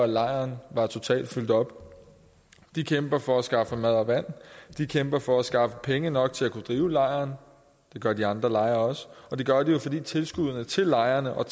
lejren var totalt fyldt op de kæmper for at skaffe mad og vand de kæmper for at skaffe penge nok til at kunne drive lejren det gør de andre lejre også og det gør de fordi tilskuddene til lejrene og